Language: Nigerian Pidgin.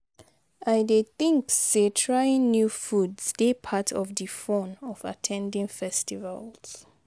i dey think say trying new foods dey part of di fun of at ten ding festivals.